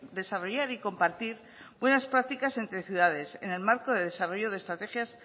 desarrollar y compartir unas prácticas entre ciudades en el marco de desarrollo de estrategias